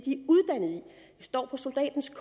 står på soldatens